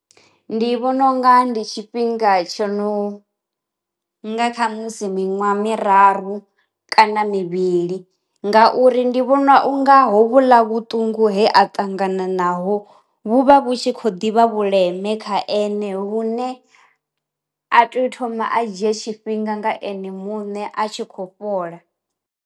Ndi vhona unga ndi tshifhinga tsho no nga kha musi miṅwaha miraru kana mivhili, ngauri ndi vhona unga ho vhuḽa vhuṱungu he a ṱangana naho vhu vha vhu tshi kho ḓivha vhuleme kha ene, vhune a tea u thoma a dzhie tshifhinga nga ene muṋe a tshi khou fhola.